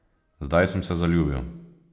Zdaj sem se zaljubil.